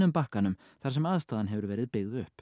bakkanum þar sem aðstaðan hefur verið byggð upp